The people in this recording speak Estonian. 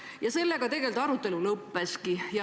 Ja sellega tegelikult arutelu lõppeski.